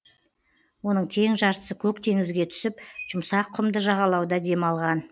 оның тең жартысы көк теңізге түсіп жұмсақ құмды жағалауда демалған